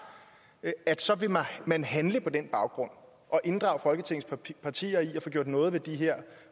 så vil man handle på den baggrund og inddrage folketingets partier i at få gjort noget ved de her